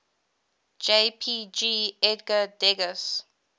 jpg edgar degas